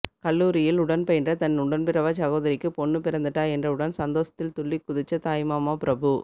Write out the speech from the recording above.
கல்லூரியில் உடன்பயின்ற தன் உடன்பிறவாச் சகோதரிக்கு பொண்ணு பிறந்துட்டா என்றவுடன் சந்தோஷத்தில் துள்ளிக்குதிச்ச தாய்மாமா பிரபு